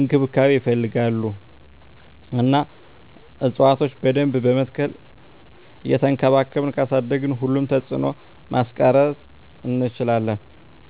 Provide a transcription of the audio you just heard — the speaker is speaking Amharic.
እንክብካቤ ይፈልጋሉ እና እፅዋቶችን በደንብ በመትከል እየቸንከባከብን ካሳደግን ሁሉንም ተፅዕኖ ማስቀረት እንችላለን።